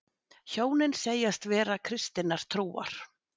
Hjónin segjast vera kristinnar trúar